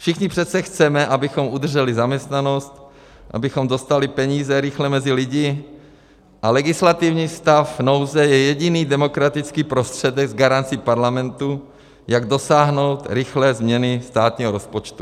Všichni přece chceme, abychom udrželi zaměstnanost, abychom dostali peníze rychle mezi lidi, a legislativní stav nouze je jediný demokratický prostředek s garancí Parlamentu, jak dosáhnout rychlé změny státního rozpočtu.